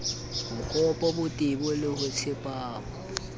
bokgabo botebo le ho tsepama